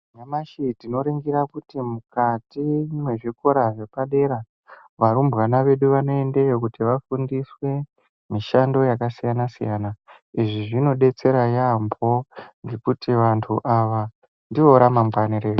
Nyamashi tino ningira kuti mukati mezvi kora zvepa dera varumbwana vedu vanoendeyo kuti vafundiswe mishando yaka siyana siyana izvi zvino betsera yambo ngekuti vandu ava ndivo rama ngwani redu.